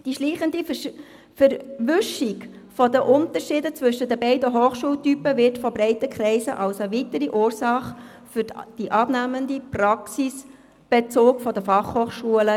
Die schleichende Verwischung der Unterschiede zwischen den beiden Hochschultypen wird von breiten Kreisen als weitere Ursache für den abnehmenden Praxisbezug der FH gesehen.